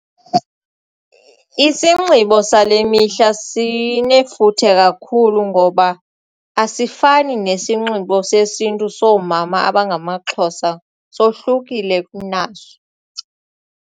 Isinxibo sale mihla sinefuthe kakhulu ngoba asifani nesinxibo sesiNtu soomama abangamaXhosa sohlukile kunaso.